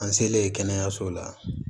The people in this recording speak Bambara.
An selen kɛnɛyaso la